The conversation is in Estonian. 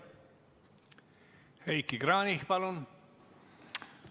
Heiki Kranich, palun!